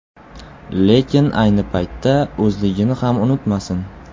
Lekin ayni paytda o‘zligini ham unutmasin.